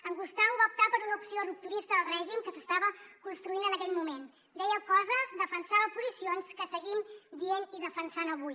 en gustau va optar per una opció rupturista del règim que s’estava construint en aquell moment deia coses defensava posicions que seguim dient i defensant avui